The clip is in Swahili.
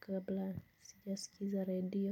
kabla sija sikiza redio.